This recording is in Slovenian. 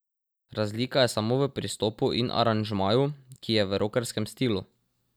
Razlika je samo v pristopu in aranžmaju, ki je v rokerskem stilu.